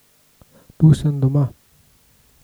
Tu sem doma.